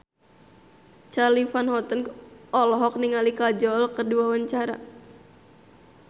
Charly Van Houten olohok ningali Kajol keur diwawancara